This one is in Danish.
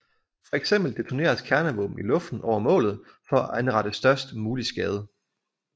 Fx detoneres kernevåben i luften over målet for at anrette størst mulig skade